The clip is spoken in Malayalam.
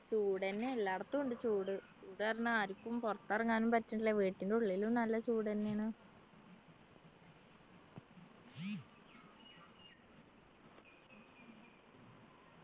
ചൂടെന്നെ എല്ലായിടത്തും ഉണ്ട് ചൂട് ചൂട് കാരണം ആരിക്കും പുറത്തെറങ്ങാനും പറ്റുന്നില്ല വീട്ടിൻ്റെ ഉള്ളിലും നല്ല ചൂടെന്നെയാണ്